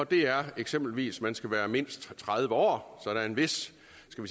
det er eksempelvis at man skal være mindst tredive år så der er en vis